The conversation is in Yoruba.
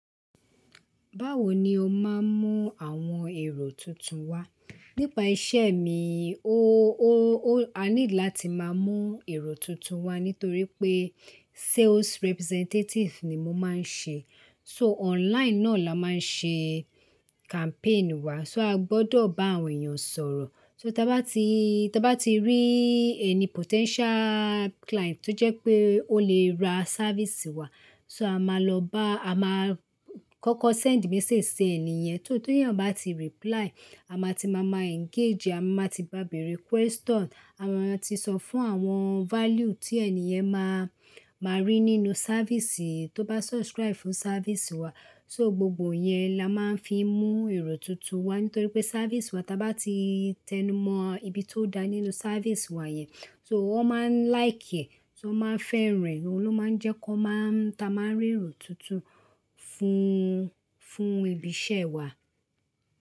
Báwo ni o máa ń mú àwọn èrò tuntun wá? Nípa iṣẹ́ mi, o, o, o, a ní láti máa mú èrò tuntun wá nítorí pé sales representative ni mo máa ń ṣe. So online náà la máa ń ṣe campaign wá, so a gbọdọ̀ bá àwọn èèyàn sọ̀rọ̀. So tí a bá ti, tí a bá ti rí ẹni potential client tó jẹ́ pé ó lè ra service wá, so a máa lọ bá, a máa kọ́kọ́ send message sí ènìyẹn. So t'ènìyàn bá ti reply, a máa ti máa ma engage, a máa ti bá béèrè question, a máa ti sọ fún àwọn value tí ènìyàn máa, máa rí nínú service tó bá subscribe fún service wá. So gbogbo yẹn la máa ń fi mú èrò tuntun wá, nítorí pé service wá tí a bá ti tẹnumọ ibi tó dá nínú service wá yẹn, so wọ́n máa ń like ẹ̀, so wọ́n máa ń fẹ́ rẹ̀, òun ló máa ń jẹ́ kó máa ń, táa máa ń rí èrò tuntun fún, fún ibi iṣẹ́ wá.